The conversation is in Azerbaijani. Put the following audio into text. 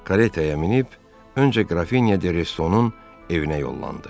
Karetaya minib, öncə Qrafinya de Restonun evinə yollandı.